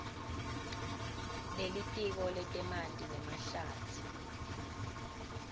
lelitiko letemanti nemahlatsi